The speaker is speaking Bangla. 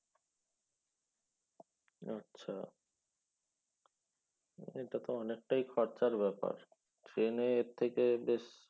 আচ্ছা এটা তো অনেকটাই খরচার ব্যাপার train এ এর থেকে বেশ